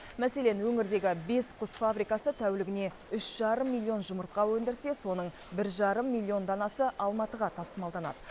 мәселен өңірдегі бес құс фабрикасы тәулігіне үш жарым миллион жұмыртқа өндірсе соның бір жарым миллион данасы алматыға тасымалданады